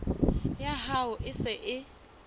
ya hao e se e